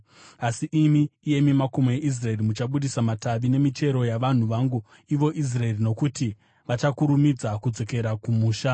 “ ‘Asi imi, iyemi makomo eIsraeri, muchabudisa matavi nemichero yavanhu vangu ivo Israeri, nokuti vachakurumidza kudzokera kumusha.